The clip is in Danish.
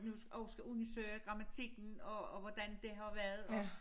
Nu og skal undersøge grammatikken og og hvordan det har været og